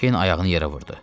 Kern ayağını yerə vurdu: